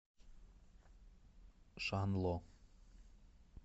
шанло